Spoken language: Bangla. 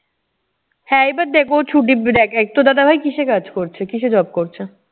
হ্যাঁ এইবার দেখ ও ছুটির দ্যাখ এক তোর দাদা ভাই কিসে কাজ করছে, কিসে job করছে?